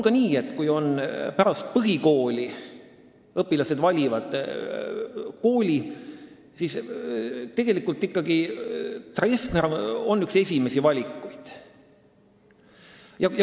Kui õpilased pärast põhikooli kooli valivad, siis on Treffner ikkagi üks esimesi valikuid.